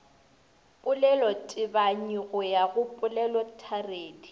polelotebanyi go ya go polelotharedi